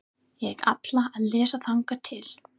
Ég ætla að lesa þangað til.